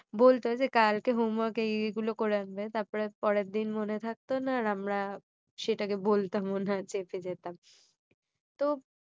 বলতো যে কালকে homework এই এই গুলো করে আনবে তারপর পরের দিন মনে থাকতো না আর আমরা সেটাকে বলতামও না চেপে যেতাম তো